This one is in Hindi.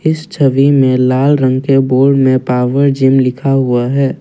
इस छवि में लाल रंग के बोर्ड मे पावर जीम लिखा हुआ है।